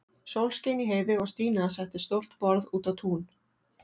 Sól skein í heiði og Stína setti stórt borð út á tún.